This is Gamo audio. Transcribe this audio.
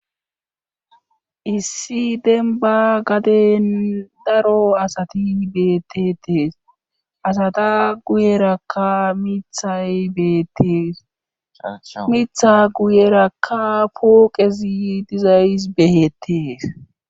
Issi demba gaden daro asati beettetees asata guyerakka mithay beettees mitha guyerakka pooqezi dizayys behetees.